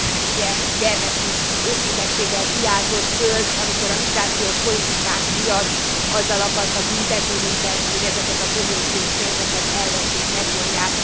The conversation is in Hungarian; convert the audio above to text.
Ugye gyermeki őszinteséggel kiáltott föl, amikor a migrációs politikánk miatt azzal akartak büntetni minket, hogy ezeket a kohéziós pénzeket elveszik, megvonják.